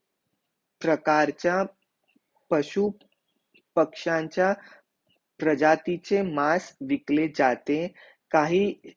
प्रकारचा पशु पक्ष्यांचा प्रजाती चे मांस विकले जाते काही